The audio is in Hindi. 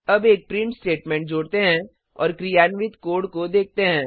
अब एक प्रिंट स्टेटमेंट जोड़ते हैं और क्रियान्वित कोड को देखते हैं